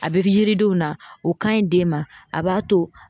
A bɛ yiridenw na o ka ɲi den ma a b'a to